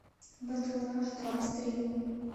бэтл раш два стрим